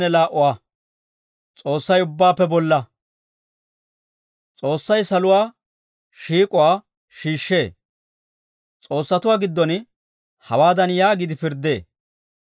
S'oossay saluwaa shiik'uwaa shiishshee. S'oossatuwaa giddon hawaadan yaagiide pirddee;